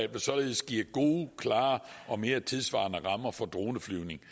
vil således give gode klare og mere tidssvarende rammer for droneflyvning